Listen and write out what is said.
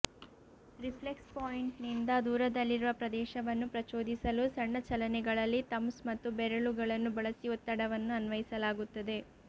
reflex ಪಾಯಿಂಟ್ನಿಂದ ದೂರದಲ್ಲಿರುವ ಪ್ರದೇಶವನ್ನು ಪ್ರಚೋದಿಸಲು ಸಣ್ಣ ಚಲನೆಗಳಲ್ಲಿ ಥಂಬ್ಸ್ ಮತ್ತು ಬೆರಳುಗಳನ್ನು ಬಳಸಿ ಒತ್ತಡವನ್ನು ಅನ್ವಯಿಸಲಾಗುತ್ತದೆ